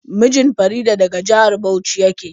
Mijin Farida daga jihar Bauchi yake.